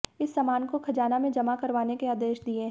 इस सामान को खजाना में जमा करवाने के आदेश दिए हैं